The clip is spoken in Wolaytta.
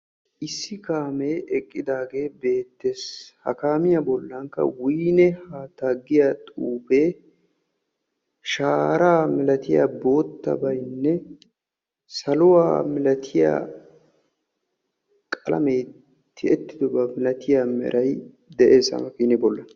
Issi kaamee eqqidaagee beettees. Ha kaamiya bollankka wiine. haattaa giya xuufee shaaraa milatiya boottabaynne saluwa milatiya qalamee tiyettidoba milatiya meray de'ees ha makiinee bolla.